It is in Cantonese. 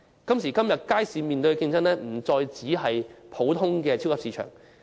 街市現在面對的競爭，不再是普通的超級市場。